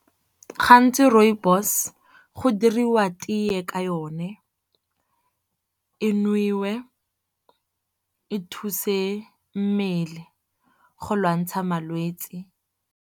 Gantsi rooibos go diriwa teye ka yone e nowe, e thuse mmele go lwantsha malwetse.